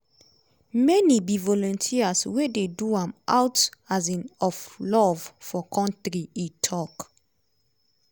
"many be volunteers wey dey do am out um of love for kontri" e tok.